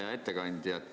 Hea ettekandja!